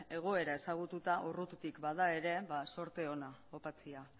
egoera ezagututa urrutitik bada ere ba zorte ona opatzea